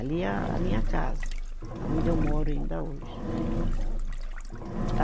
Ali é a, a minha casa, aonde eu moro ainda hoje, né. a